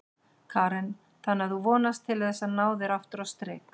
Karen: Þannig að þú vonast til þess að ná þér aftur á strik?